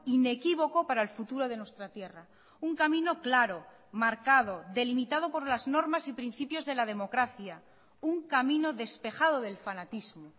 inequívoco para el futuro de nuestra tierra un camino claro marcado delimitado por las normas y principios de la democracia un camino despejado del fanatismo